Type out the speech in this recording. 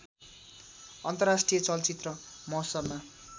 अन्तर्राष्ट्रिय चलचित्र महोत्सवमा